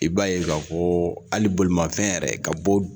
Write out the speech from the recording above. I b'a ye ka fɔ hali bolimafɛn yɛrɛ ka bɔ